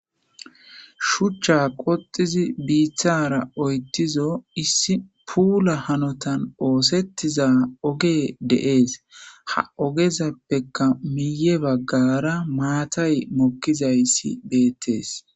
shuchcha qoxizi biitara oyttizo issi puula hanotan oosettiza oge deees ha ogezappeka miiye baggara maatay mokkizayssi beettees